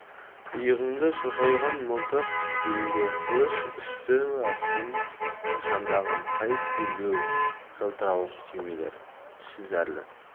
иығыңда шошайған мылтық белінде қылыш үсті-басын шандыған қайыс белбеу жылтырауық түймелер түсі зәрлі